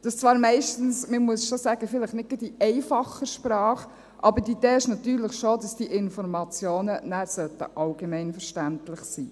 Dies tun sie zwar meistens – man muss es schon sagen – vielleicht nicht gerade in einfacher Sprache, aber die Idee ist natürlich schon, dass diese Informationen nachher allgemeinverständlich sein sollten.